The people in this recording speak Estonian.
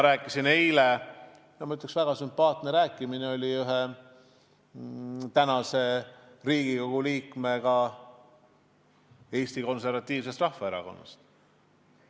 Eile oli mul väga sümpaatne jutuajamine Riigikogu liikmega Eesti Konservatiivsest Rahvaerakonnast.